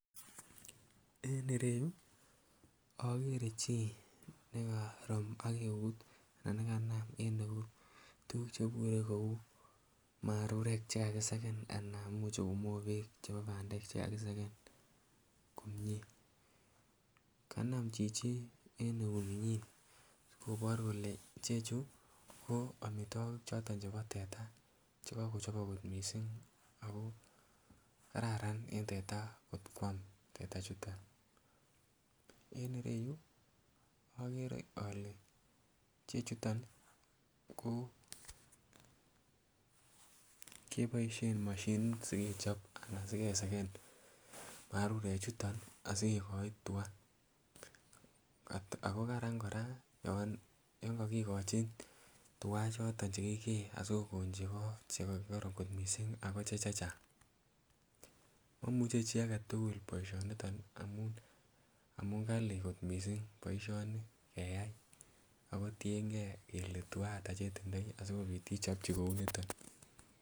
En ireyu ogere chi nekorom ak neut tugug chebure kouu marurek che kakiseken anan ko mobek che kakiseken komie. Kanam chichi en ieuninyin asikobor kole chechu ko amitwokik choton chebo teta che kogochobok kot missing kararan en teta kot kwam teta chuton. En ireyu ogere ole chechuton ko moshinit sikechob anan si kesen marurek chuton asi kigoin tua ago Karan koraa yon kokugochu tuga choton che kigee asi kogon chego choton che kororon kot missing ago chechang. Momuche chi agetugul boisho niton amun kalii kot missing boisioni keyay ago tiengee kelee tua ata che tindoi asikopit ichobji kouu niton